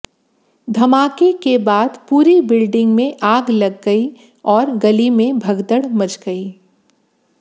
धमाके के बाद पूरी बिल्डिंग में आग लग गई और गली में भगदड़ मच गई